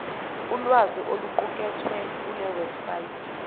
ulwazi oluqukethwe kulewebsite